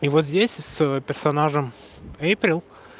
и вот здесь с персонажем эйприл